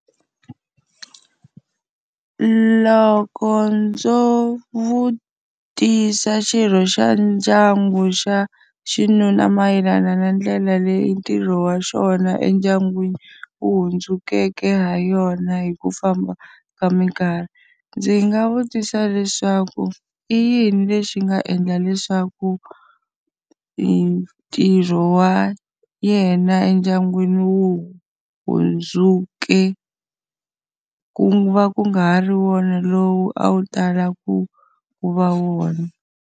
Loko ndzo vutisa xirho xa ndyangu xa xinuna mayelana na ndlela leyi ntirho wa xona endyangwini wu hundzukeke ha yona hi ku famba ka minkarhi, ndzi nga vutisa leswaku i yini lexi nga endla leswaku ntirho wa yena endyangwini wu hundzuke ku va ku nga ha ri wona lowu a wu tala ku ku va wona?